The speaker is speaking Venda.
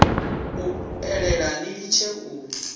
u eḓela ni litshe u